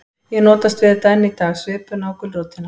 Ég notast við þetta enn í dag, svipuna og gulrótina.